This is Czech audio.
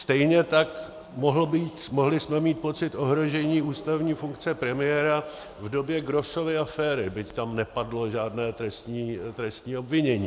Stejně tak mohli jsme mít pocit ohrožení ústavní funkce premiéra v době Grossovy aféry, byť tam nepadlo žádné trestní obvinění.